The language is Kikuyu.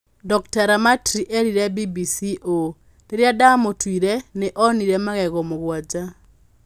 Dr. Ramatri eerire BBC ũũ: "Rĩrĩa ndamũtuire, nĩ onire magego mũgwanja.